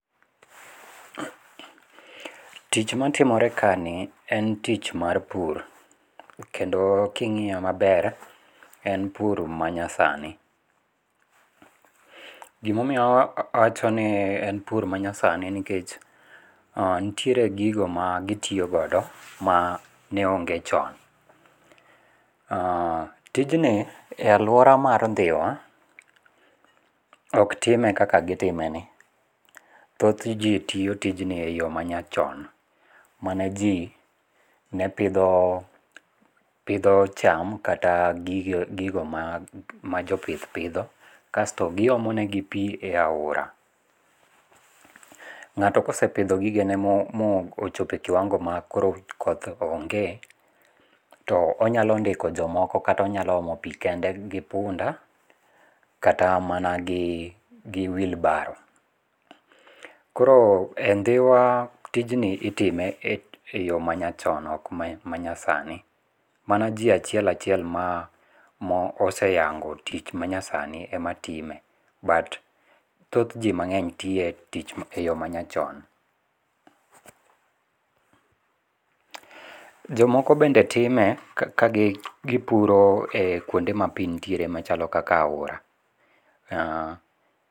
Tich matimore kani, en tich mar pur, kendo king'iye maber en pur manyasani, gima omiyo awachoni en pur manyasani nikech nitiere gigo magitiyogodo ma neonge chon. Tijni e aluora ma Dhiwa oktime kaka gitimeni, thothji tiyo tijni e yo mayachon maneji ne pitho pitho cham kata gigo ma jo pith pitho, kasto giyomonegi pi e ahora. Ng'ato ka osepitho gigene mochopo e kiwang'o ma koro koth ong'e, to onyalo ndiko jomoko kata onyalo omopi kende gi punda kata mana gi wheelbarrow koro e Dhiwa tijni itime e yo manyachon ok e yo masani, mano ji achiel achiel ma moseyango tich manyasani ematime, but thoth ji mang'eny tiye e yo manyachon. Jomoko bende time ka gipuroe kuonde ma pi nitiere machalo kaka oara